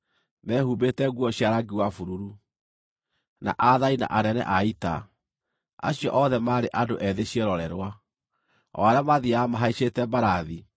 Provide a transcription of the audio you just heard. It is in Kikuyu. mehumbĩte nguo cia rangi wa bururu, na aathani na anene a ita, acio othe maarĩ andũ ethĩ ciĩrorerwa, o arĩa maathiiaga mahaicĩte mbarathi.